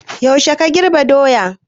Yaushe ka girbe doyan?